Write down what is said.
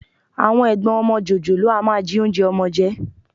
Àwọn ẹ̀gbọ́n ọmọ jòjòló a máa jí oúnjẹ ọmọ jẹ